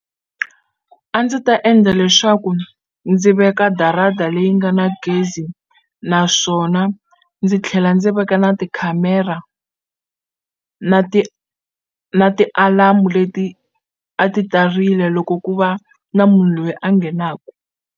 A ndzi ta endla leswaku ndzi veka darata leyi nga na gezi naswona ndzi tlhela ndzi veka na tikhamera na ti na ti-alarm leti a ti ta rila loko ku va na munhu loyi a nghenaku.